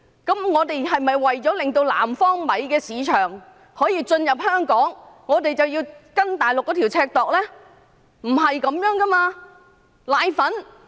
但我們是否為了令南方米進入香港的市場，便要以內地的尺來量度呢？